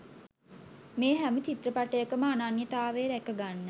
මේ හැම චිත්‍රපටයකම අනන්‍යතාවය රැක ගන්න